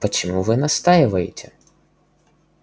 почему вы настаиваете